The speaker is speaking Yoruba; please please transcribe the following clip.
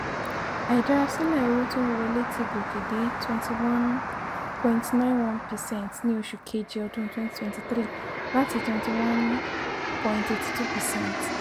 àìdárasílẹ̀ owó tó ń wọlé ti gòkè dé21.91 percent ní oṣù kejì ọdún2023 láti 21.82 percent.